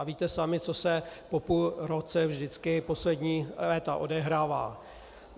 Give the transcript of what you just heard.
A víte sami, co se po půl roce vždycky poslední léta odehrává.